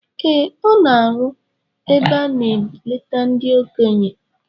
Ee, ọ na-arụ ebe a na -eleta ndị okenye